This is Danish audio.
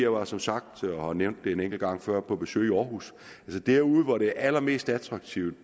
var som sagt jeg har nævnt det en enkelt gang før på besøg i aarhus havn hvor det er allermest attraktivt